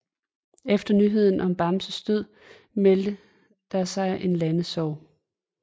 Efter nyheden om Bamses død meldte der sig en landesorg